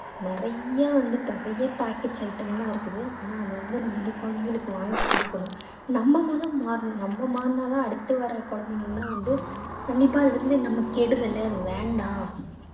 நிறைய வந்துட்டு நிறைய packets item லாம் இருக்குது ஆனா அதை வந்து நம்ம வந்து குழந்தைங்களுக்கு வாங்கி குடுக்குறோம் நம்ம முதல் மாறனும் நம்ம மாறினா தான் அடுத்து வர குழந்தைகளெல்லாம் வந்து கண்டிப்பா அது வந்து நமக்கு கெடுதலு அது வேண்டாம்